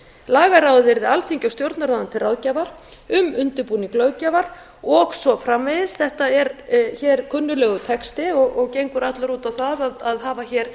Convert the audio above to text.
lagaráðið yrði alþingi og stjórnarráðinu til ráðgjafar um undirbúning löggjafar og svo framvegis þetta er hér kunnuglegur texti og gengur allur út á það að hafa hér